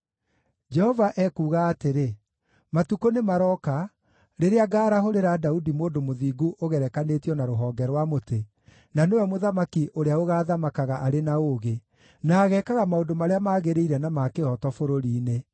Jehova ekuuga atĩrĩ, “Matukũ nĩmarooka rĩrĩa ngaarahũrĩra Daudi mũndũ mũthingu ũgerekanĩtio na Rũhonge rwa mũtĩ, na nĩwe Mũthamaki ũrĩa ũgaathamakaga arĩ na ũũgĩ, na ageekaga maũndũ marĩa magĩrĩire na ma kĩhooto bũrũri-inĩ.